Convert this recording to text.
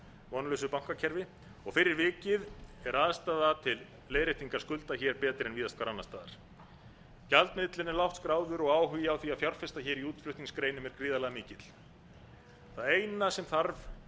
vonlausu bankakerfi fyrir vikið er aðstaða til leiðréttinga skulda hér betri en víðast hvar annars staðar gjaldmiðillinn er lágt skráður og áhugi á því að fjárfesta hér í útflutningsgreinum er gríðarlega mikill það eina sem þarf